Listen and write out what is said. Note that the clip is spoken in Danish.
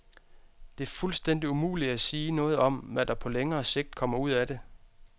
Det er fuldstændigt umuligt at sige noget om, hvad der på længere sigt kommer ud af det.